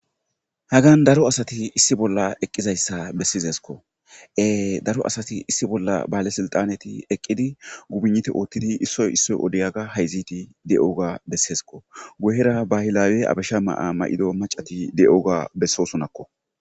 Haggani darro assati issi bolla eqizayissa besizesikko ee daro asati issi bolla balesilitaneti eqidi gubugnite othidi isoyi odewuga hayizidi hera bahilawe abasha mayuwa mayida loo maccati deyewuga besesiko